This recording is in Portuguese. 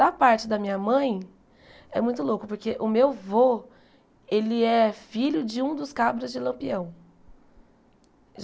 Da parte da minha mãe, é muito louco, porque o meu vô, ele é filho de um dos cabras de Lampião.